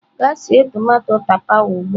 Gaa sie tomato tapawa ugbu a!.